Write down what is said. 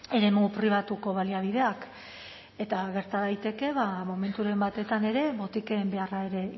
eremu pribatuko baliabideak eta gerta daiteke ba momenturen batetan ere botiken beharra ere